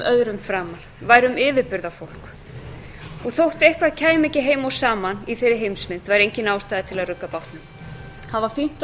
öðrum framar værum yfirburðafólk og þótt eitthvað kæmi ekki heim og saman í þeirri heimsmynd var engin ástæða til að rugga bátnum það var fínt að